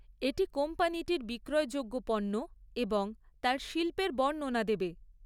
এটি কোম্পানিটির বিক্রয়যোগ্য পণ্য এবং তার শিল্পের বর্ণনা দেবে।